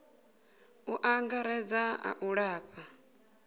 u angaredza a u lafha